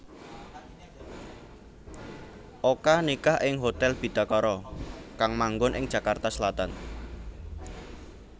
Oka nikah ing Hotel Bidakara kang manggon ing Jakarta Selatan